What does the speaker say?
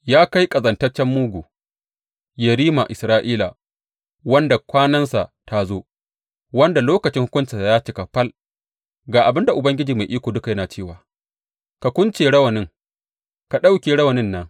Ya kai ƙazantaccen mugu, yerima Isra’ila, wanda kwanansa ta zo, wanda lokacin hukuncinsa ya cika fal, ga abin da Ubangiji Mai Iko Duka yana cewa ka kunce rawanin, ka ɗauke rawanin nan.